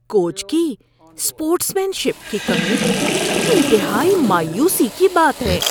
Coach کی sportsmanship کی کمی انتہائی مایوسی کی بات ہے۔